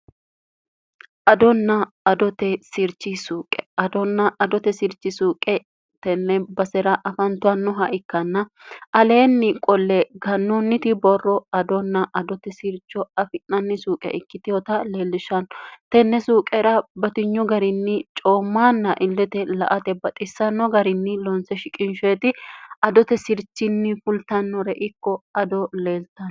adonna adote sirchi suuqe adonna adote sirchi suuqe tenne basera afantannoha ikkanna aleenni qolle gannoonniti borro adonna adote sircho afi'nanni suuqe ikkitehota leellishshanno tenne suuqera batinyo garinni coommaanna illete la ate baxissanno garinni loonse shiqinsheeti adote sirchinni fultannore ikko ado leeltano